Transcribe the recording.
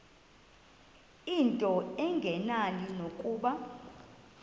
into engenani nokuba